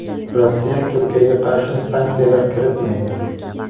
Rossiya Turkiyaga qarshi sanksiyalar kiritmaydi.